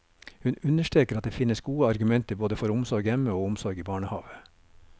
Hun understreker at det fins gode argumenter både for omsorg hjemme og omsorg i barnehave.